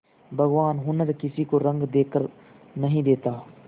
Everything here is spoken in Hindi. भगवान हुनर किसी को रंग देखकर नहीं देता